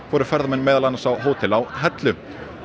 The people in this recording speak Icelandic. voru ferðamenn meðal annars fluttir á hótel á Hellu